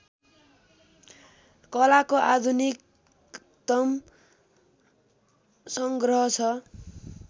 कलाको आधुनिकतम सङ्ग्रह छ